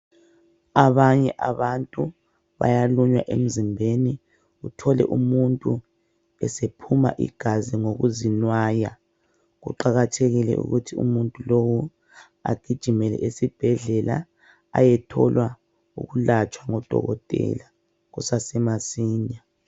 Abanye abantu bayalunya emzimbeni uthole umuntu esephuma igazi ngokuzinwaya kuqakathekile ukuthi umuntu lo agijimele esibhedlela ayethola ukulatshwa ngodokotela kusasa masinye.